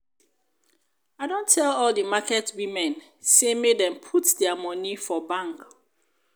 i don tell all di market women sey make dem dey put their money for bank.